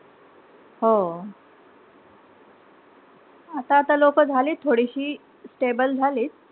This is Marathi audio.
हो. आता-आता लोकं झाली थोडीशी stable झालीत.